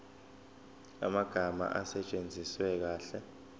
amagama asetshenziswe kahle